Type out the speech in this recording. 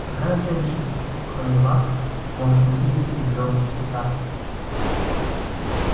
какая женщина кроме вас может носить эти зелёные цвета